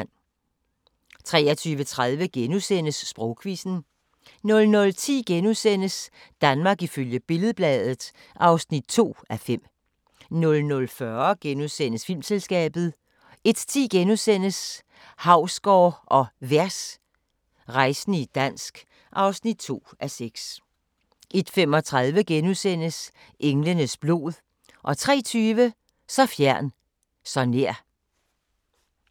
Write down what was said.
23:30: Sprogquizzen * 00:10: Danmark ifølge Billed-Bladet (2:5)* 00:40: Filmselskabet * 01:10: Hausgaard & Vers – rejsende i dansk (2:6)* 01:35: Englenes blod * 03:20: Så fjern, så nær!